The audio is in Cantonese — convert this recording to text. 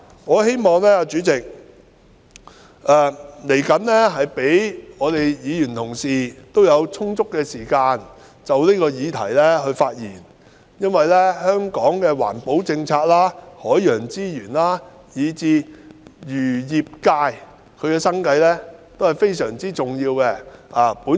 我希望代理主席稍後會給予議員充足時間就此議題發言，因為香港的環保政策、海洋資源以至漁業界的生計，都是非常重要的。